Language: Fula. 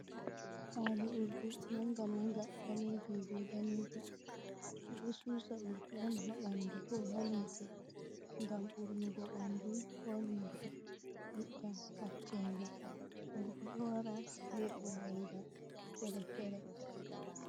Kwali urdi mannga mannga baleejum bee daneejum ɓe dto suusa urdi on haa banndu koo haa limse ngam urnugo ɓanndu koo limse itta hacceenga, urdi ɗo wara bee uurenga feere-feere.